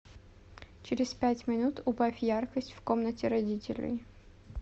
через пять минут убавь яркость в комнате родителей